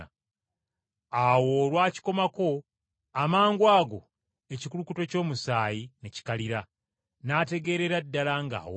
Awo olwakikomako, amangwago ekikulukuto ky’omusaayi ne kikalira n’ategeerera ddala ng’awonye.